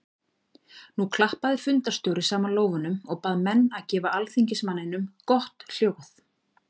Nú klappaði fundarstjóri saman lófunum og bað menn að gefa alþingismanninum gott hljóð.